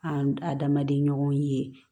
An adamaden ɲɔgɔn ye